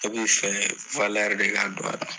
I bi fɛ de ka don a la.